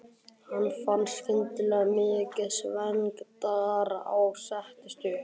Hann fann skyndilega til mikillar svengdar og settist upp.